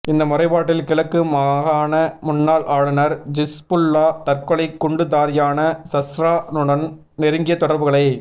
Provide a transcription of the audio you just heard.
இந்த முறைப்பாட்டில் கிழக்கு மாகாண முன்னாள் ஆளுநர் ஹிஸ்புல்லா தற்கொலை குண்டுதாரியான சஹ்ரா னுடன் நெருங்கிய தொடர்புகளை